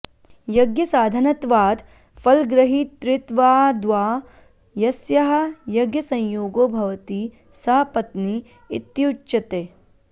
यज्ञसाधनत्वात् फलग्रहीतृत्वाद्वा यस्याः यज्ञसंयोगो भवति सा पत्नी इत्युच्यते